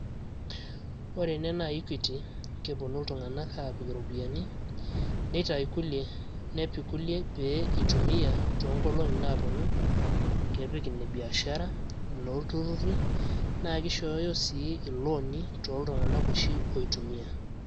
ore ene naa equity keponu iltung`anak apik iropiyiani neitayu kulie nepik kulie peyie eitumia too nkolong`i naaponu kepik ine biashara inolturruri naa kishooyo sii ilooni toltung`anak oshi oitumiya.